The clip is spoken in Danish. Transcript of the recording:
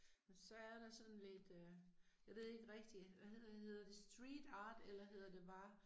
Og så er der sådan lidt øh. Jeg ved ikke rigtig, hvad hedder hedder det street art eller hedder det bare